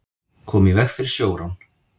Komu í veg fyrir sjórán